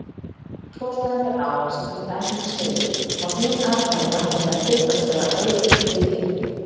Þegar svo stendur á sem í dæminu segir fá hin atkvæði væntanlega hlutfallslega aukið gildi.